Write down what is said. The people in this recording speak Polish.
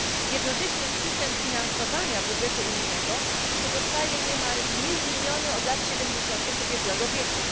Jednocześnie system finansowania budżetu unijnego pozostaje niemal niezmieniony od lat 70 tych ubiegłego wieku.